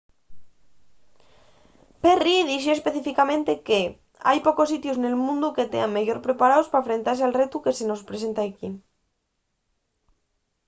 perry dixo específicamente que hai pocos sitios nel mundu que tean meyor preparaos pa enfrentase al retu que se mos presenta equí.